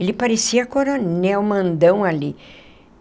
Ele parecia coronel, mandão ali.